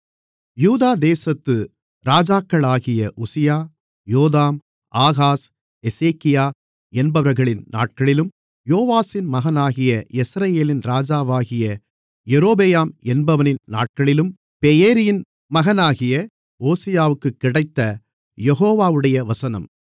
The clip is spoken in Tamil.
யூதா தேசத்து ராஜாக்களாகிய உசியா யோதாம் ஆகாஸ் எசேக்கியா என்பவர்களின் நாட்களிலும் யோவாசின் மகனாகிய யெஸ்ரயேலின் ராஜாவாகிய யெரொபெயாம் என்பவனின் நாட்களிலும் பெயேரியின் மகனாகிய ஓசியாவிற்கு கிடைத்த யெகோவாவுடைய வசனம்